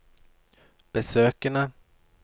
besøkene